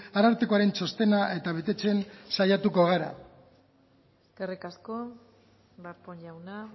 arartekoaren txostena eta betetzen saiatuko gara eskerrik asko darpón jauna